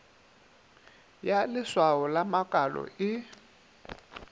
ya leswao la makalo e